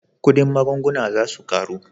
Kudin magunguna za su karu